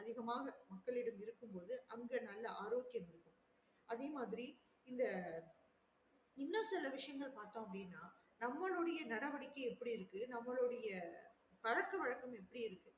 அதிகமாக மக்களிடம் இருக்கும் போது அங்க நல்லா ஆரோக்கிய அதே மாறி இந்த இன்னும் சில விசையசங்கள் நம்மலுடைய நடவடிக்கை எப்டி இருக்கு நம்மலடைய பழக்க வழக்கம்